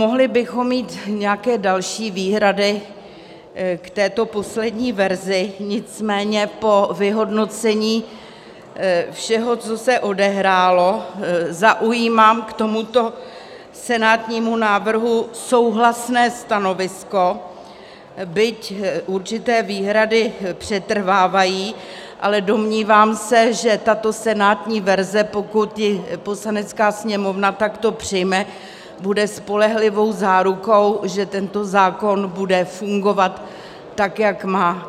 Mohli bychom mít nějaké další výhrady k této poslední verzi, nicméně po vyhodnocení všeho, co se odehrálo, zaujímám k tomuto senátnímu návrhu souhlasné stanovisko, byť určité výhrady přetrvávají, ale domnívám se, že tato senátní verze, pokud ji Poslanecká sněmovna takto přijme, bude spolehlivou zárukou, že tento zákon bude fungovat tak, jak má.